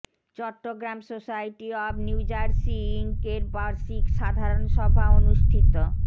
Chittagong society of New Jersey Inc এর বার্ষিক সাধারণ সভা অনুষ্ঠিত